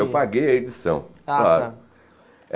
Eu paguei a edição, claro. Ah tá